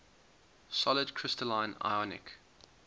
solid crystalline ionic